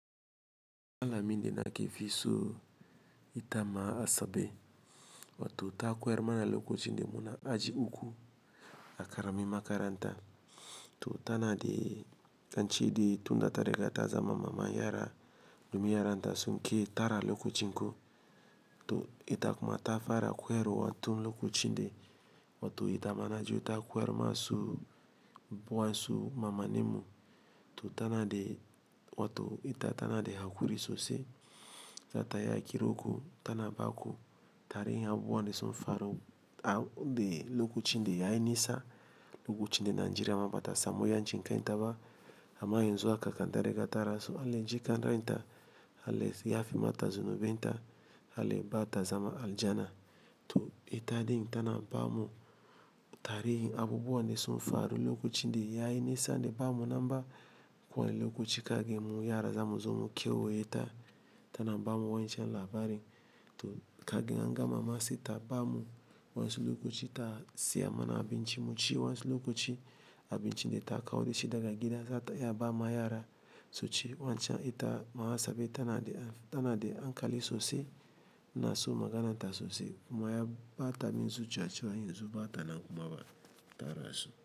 Alamin da nake fi so itama a sabe wato ta ko yar mana lokacin da muna aji uku a karami makaranta. To tana dai ance dai tunda ta riga ta zama maman yara domin yaran ta sunki tara lokacinku. To ita kuma ta fara ko yarwa tun lokacin dai wato itama na ji ta ko yarma su. Wa'an su maman min mu. To tana dai wato ita tana da haƙuri sosai. Zata iya kiran ku tana baku tarihin abubuwan da sun faru. De lokacin da yayi nisa, lokacin da Nigeria ma bata samuyan cin kan taba. Ama yanzu aka kan tarigata rasu. Allah ya jikan ranta, Allah yaya fe mata zinuben ta, Allah ba ta zaman aljana. To ita ɗin tana ba mu tarihin abubuwan da sun faru lokacin de yayi nisa da ba mu namba kowanne lokaci kaga mu yara zamu zo mu kewaye ta. Tana ba mu wancan labarin to kaga in an gama ma saita ba mu. Wayansu lokaci ta siya mana abinci mu ci wayansu lokaci. Abinci de ta kawo da shi daga gida zata iya ba ma yara. Suci wancan ita mama asabe tana da, tana da an kali sosai ina so maganan ta sosai kuma ya ɓa ta min zuciya cewa yanzu ba ta nan kuma ba tara rasu.